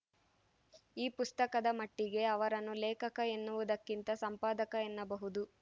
ಈ ಪುಸ್ತಕದ ಮಟ್ಟಿಗೆ ಅವರನ್ನು ಲೇಖಕ ಎನ್ನುವುದಕ್ಕಿಂತ ಸಂಪಾದಕ ಎನ್ನಬಹುದು